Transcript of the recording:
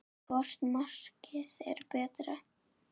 Hvort markið er betra?